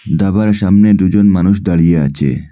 ধাবার সামনে দুজন মানুষ দাঁড়িয়ে আছে।